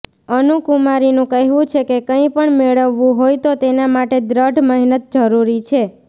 અનુ કુમારીનું કહેવું છે કે કંઈપણ મેળવવું હોય તો તેના માટે દ્રઢ મહેનત જરૂરી છે